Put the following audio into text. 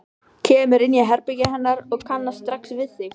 Kemur inn í herbergið hennar og kannast strax við sig.